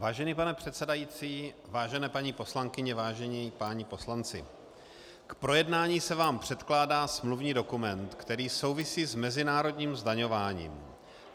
Vážený pane předsedající, vážené paní poslankyně, vážení páni poslanci, k projednání se vám předkládá smluvní dokument, který souvisí s mezinárodním zdaňováním.